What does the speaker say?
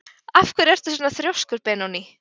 Af hverju ertu svona þrjóskur, Benóný?